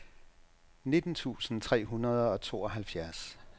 nitten tusind tre hundrede og tooghalvfjerds